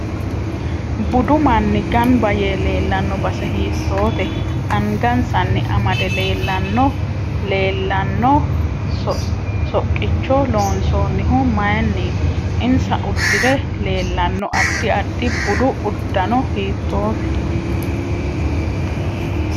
Budu manni ganbba yee leelanno base hiitoote angasanni amade leelanno leelanno soqqicho loonsoonihu mayiiniti insa uddire leelanno addi addi budu uddano hiitoote